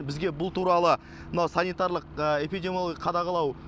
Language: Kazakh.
бізге бұл туралы мынау санитарлық эпидемиялогиялық қадағалау